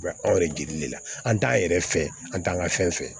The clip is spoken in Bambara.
Wa anw yɛrɛ jeli de la an t'a yɛrɛ fɛ an t'an ka fɛn fɛ